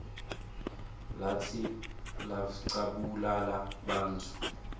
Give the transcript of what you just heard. latsi biflcabulala bantfu